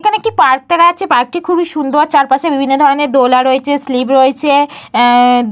এইখানে একটি পার্ক করা আছে। পার্কটি খুবই সুন্দর। চারপাশে বিভিন্ন ধরণের দোলা রয়েছে স্লিপ রয়েছে। এহ হ --